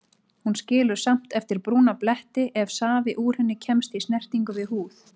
Hún skilur samt eftir brúna bletti ef safi úr henni kemst í snertingu við húð.